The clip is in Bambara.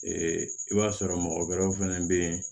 i b'a sɔrɔ mɔgɔ wɛrɛw fɛnɛ be yen